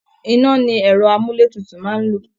iná ni ẹ̀rọ àmúlé tutu máa ń lò